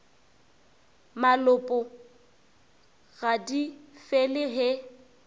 malopo ga di fele he